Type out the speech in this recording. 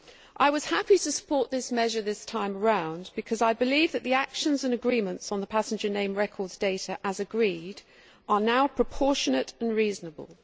I was happy to support this measure this time round because I believe that the actions and agreements on the passenger name records data as agreed are now proportionate and reasonable.